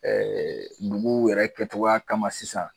Ɛɛ dugu yɛrɛ kɛcogoya kama sisan